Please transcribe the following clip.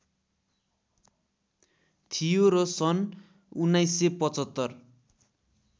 थियो र सन् १९७५